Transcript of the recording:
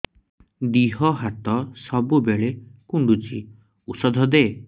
ଦିହ ହାତ ସବୁବେଳେ କୁଣ୍ଡୁଚି ଉଷ୍ଧ ଦେ